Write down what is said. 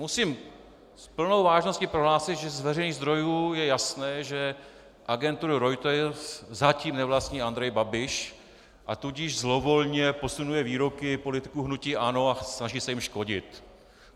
Musím s plnou vážností prohlásit, že z veřejných zdrojů je jasné, že agenturu Reuters zatím nevlastní Andrej Babiš, a tudíž zlovolně posunuje výroky politiků hnutí ANO a snaží se jim škodit.